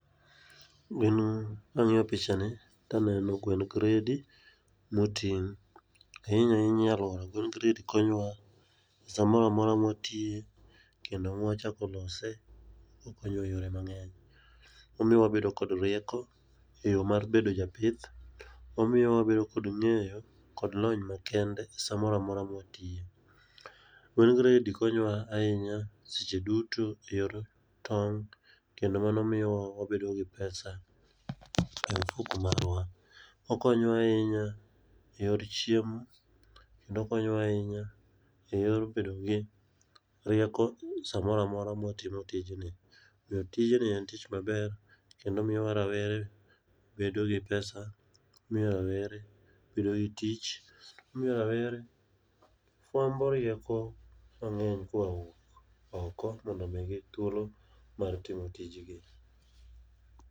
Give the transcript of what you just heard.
Gin kang'iyo picha ni taneno gwen gredi moting'. Ahinya ahinya nyuolo gwen gredi konyo wa e samora mora mwatiye kendo mwachako lose, okonyo wa e yore mang'eny. Omiyo wabedo kod rieko, e yo mar bedo japith. Omiyo wabedo kod ng'eyo kod lony ma kende samora mora mwatiye. Gwen gredi konyowa ahinya seche duto e yor tong' kendo mano miyowa wabedo gi pesa e ofuko marwa. Okonyowa ahinya e yor chiemo, kendo okonyowa ahinya e yor bedo gi rieko samora mora mwatimo tijni. Omiyo tijni en tich maber, kendo omiyo rawere bedo gi pesa, omiyo rawere bedo gi tich. Omiyo rawere fwambo rieko mang'eny koa wuok oko mondo omigi thuolo mar timo tijgi.